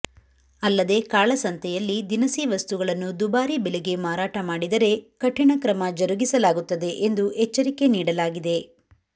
ಅಲ್ಲದೆ ಕಾಳಸಂತೆಯಲ್ಲಿ ದಿನಸಿ ವಸ್ತುಗಳನ್ನು ದುಬಾರಿ ಬೆಲೆಗೆ ಮಾರಾಟ ಮಾಡಿದರೆ ಕಠಿಣ ಕ್ರಮ ಜರುಗಿಸಲಾಗುತ್ತದೆ ಎಂದು ಎಚ್ಚರಿಕೆ ನೀಡಲಾಗಿದೆ